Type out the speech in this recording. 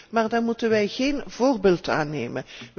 maar daar moeten wij geen voorbeeld aan nemen.